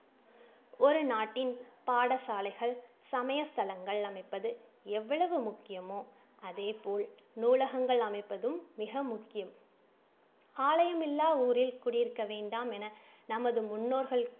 ஒரு நாட்டின் பாடசாலைகள், சமயஸ்தலங்கள் அமைப்பது எவ்வளவு முக்கியமோ அதேபோல் நூலகங்கள் அமைப்பதும் மிக முக்கியம். ஆலயம் இல்லா ஊரில் குடியிருக்க வேண்டாமென நமது முன்னோர்கள்